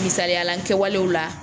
Misaliyala n kɛwalew la